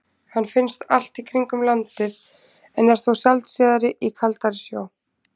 Hann finnst allt í kringum landið en er þó sjaldséðari í kaldari sjó.